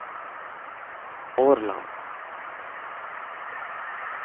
Årland